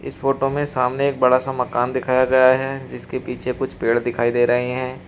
Photo मे सामने एक बड़ा सा मकान दिखाया गया है जिसके पीछे कुछ पेड़ दिखाई दे रहे हैं।